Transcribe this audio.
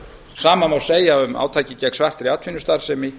sama má segja um átakið gegn svartri atvinnustarfsemi